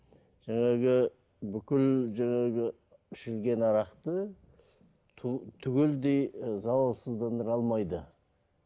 жаңағы бүкіл жаңағы ішілген арақты түгелдей ы залалсыздандыра алмайды